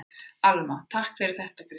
Alma: Takk fyrir þetta Kristín.